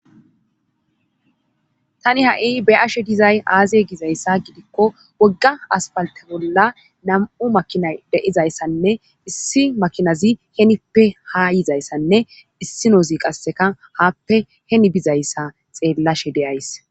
Tani ha7i be ashe dizay aaziye gizayssa gidikko wogga aspalte bolla nam7u makina deizayssanne issi makinazi henippe ha yizayssanne issi noozi qasseka haappe heni bizayssa xeellashe deyays.